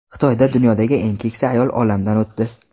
Xitoyda dunyodagi eng keksa ayol olamdan o‘tdi.